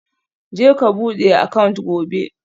Je ka bude account gobe